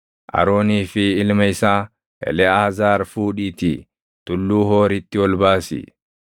Aroonii fi ilma isaa Eleʼaazaar fuudhiitii Tulluu Hooritti ol baasi.